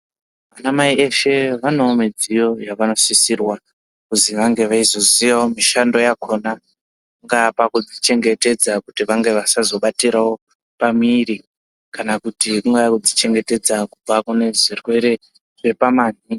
Ana mai veshe vane midziyo yavanosisirwa kuti vange veizosisirwa kuziya mishando yakona yavanga chengetedzwa kutirawo pamwiri kana kuchengetedzawo kubva kune zvirwere zvepamabvi.